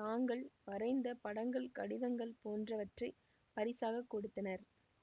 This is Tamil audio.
தாங்கள் வரைந்த படங்கள் கடிதங்கள் போன்றவற்றை பரிசாகக் கொடுத்தனர்